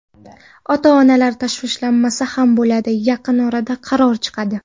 Ota-onalar tashvishlanmasa bo‘ladi, yaqin orada qaror chiqadi.